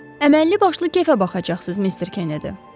Əməlli başlı kefə baxacaqsınız, Mister Kennedy.